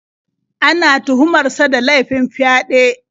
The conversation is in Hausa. Ana tuhumar sa da laifin fyaɗe.